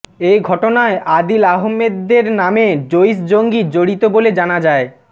এ ঘটনায় আদিল আহমেদ দর নামে জইশ জঙ্গি জড়িত বলে জানা যায়